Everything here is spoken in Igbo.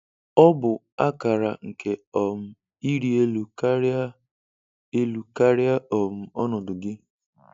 Ọ bụ akara nke um ịrị elu karịa elu karịa um ọnọdụ gị.